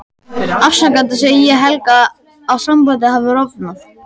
Afsakandi segi ég Helga að sambandið hafi rofnað.